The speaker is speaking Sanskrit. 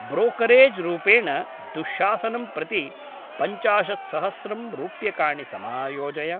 ब्रोकरेज् रूपेण दुःशासनं प्रति पञ्चाशत्सहस्रं रूप्यकाणि समायोजय।